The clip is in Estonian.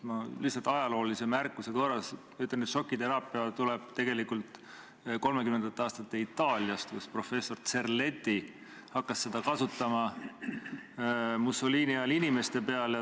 Ma ütlen lihtsalt ajaloolise märkuse korras, et šokiteraapia tuleneb tegelikult 30-ndate aastate Itaaliast, kus professor Cerletti hakkas seda kasutama Mussolini ajal inimeste peal.